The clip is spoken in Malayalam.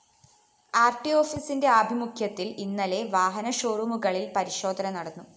ആര്‍ടി ഓഫീസിന്റെ ആഭിമുഖ്യത്തില്‍ ഇന്നലെ വാഹന ഷോറൂമുകളില്‍ പരിശോധന നടന്നു